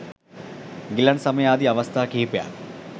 ගිලන් සමය ආදි අවස්ථා කිහිපයක්